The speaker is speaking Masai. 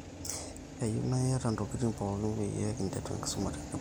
keyieu naa iyata ntokitin pooki peyie kinteru enkisuma tenebo